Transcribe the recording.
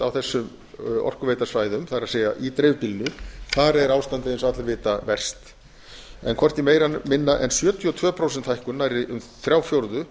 á þessum orkuveitusvæðum það er í dreifbýlinu þar er ástandið eins og allir vita verst en hvorki meira né minna en sjötíu og tvö prósent hækkun nærri um þrír fjórðu